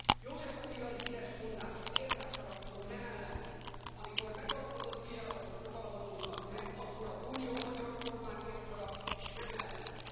József Attila híres mondása érted haragszom, nem ellened, amikor megalapozott bírálatok fogalmazódnak meg, akkor az Unió a magyar kormányért haragszik, s nem ellene.